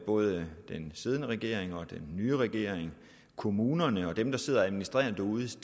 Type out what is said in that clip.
både den siddende regering den nye regering kommunerne og dem der sidder og administrerer derude til